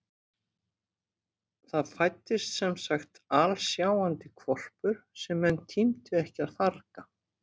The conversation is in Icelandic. Það fæddist semsagt alsjáandi hvolpur sem menn tímdu ekki að farga.